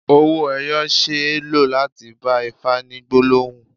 Owó ẹyọ ṣe é lò láti bá Ifá ní gbólóhùn.